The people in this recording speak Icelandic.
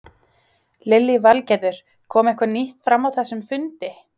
Lillý Valgerður: Kom eitthvað nýtt fram á þessum fundi?